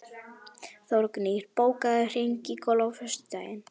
Þórgnýr, bókaðu hring í golf á föstudaginn.